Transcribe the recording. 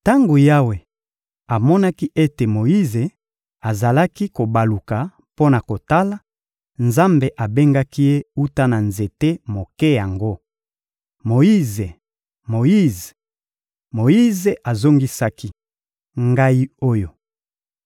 Tango Yawe amonaki ete Moyize azali kobaluka mpo na kotala, Nzambe abengaki ye wuta na nzete moke yango: — Moyize, Moyize! Moyize azongisaki: — Ngai oyo!